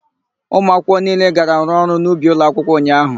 Ụmụakwụkwọ niile gara rụọ ọrụ n'ubi ụlọakwụkwọ ụnyaahụ.